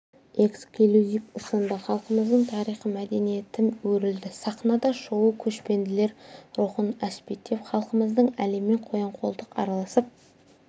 эксклюзив ұсынды халқымыздың тарихы мәдениеті өрілді сахнада шоуы көшпенділер рухын әспеттеп халқымыздың әлеммен қоян-қолтық араласып